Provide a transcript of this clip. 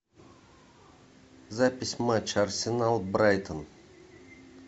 запись матча арсенал брайтон